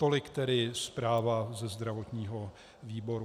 Tolik tedy zpráva ze zdravotního výboru.